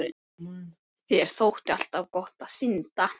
Þér þótti alltaf gott að synda